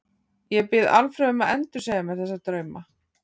Ég bið Alfreð um að endursegja mér þessa drauma.